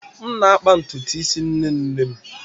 M na-akpa ntutu isi nne nne m.